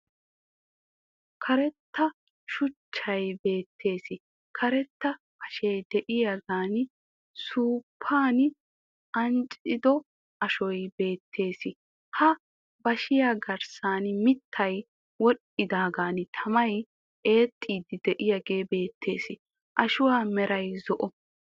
Karetta shuchchay beettees, Karetta bashee de'iyagan suuppan ancciddo ashoy beettees, ha bashiya garssan mitay wodhidaagan tammay eexxidi de'iyagee beettees, ashuwa meray zo"o.